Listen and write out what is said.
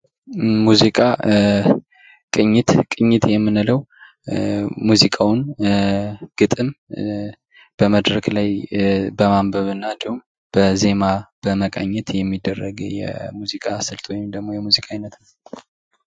ሙዚቃ ቅኝት፦ ቅኝት የምንለው ሙዚቃውን ግጥም በመድረክ ላይ በማንበብ እንዲሁም በዜማ በመቃኘት የሚደረግ የሙዚቃ ስልት ወይም የሙዚቃ አይነት ነው።